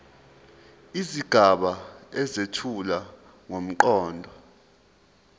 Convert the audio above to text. izigaba ezethula ngomqondo